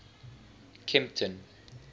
kempton